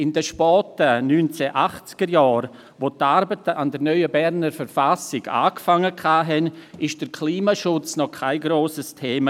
In den späten 1980er-Jahren, wo die Arbeiten an der neuen Berner Verfassung begannen, war der Klimaschutz noch kein grosses Thema.